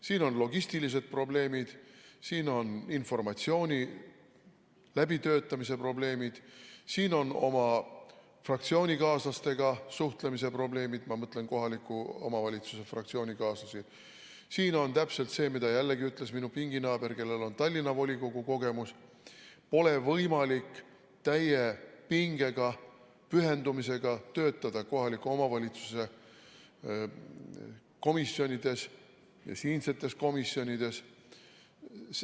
Siin on logistilised probleemid, siin on informatsiooni läbitöötamise probleemid, siin on oma fraktsioonikaaslastega suhtlemise probleemid , siin on täpselt see, mida jällegi ütles minu pinginaaber, kellel on Tallinna volikogu kogemus: pole võimalik täie pingega, pühendumisega töötada kohaliku omavalitsuse komisjonides ja siinsetes komisjonides.